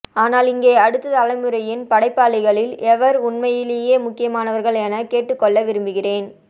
ஆனால் இங்கே அடுத்த தலைமுறையின் படைப்பாளிகளில் எவர் உண்மையிலேயே முக்கியமானவர்கள் என கேட்டுக்கொள்ள விரும்புகிறேன்